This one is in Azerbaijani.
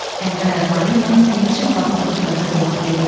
Əyri ayaqları ilə günəşin batdığı tərəfə doğru gedirdi.